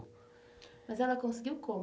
Mas ela conseguiu como?